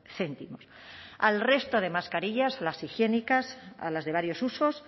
céntimos al resto de mascarillas las higiénicas a las de varios usos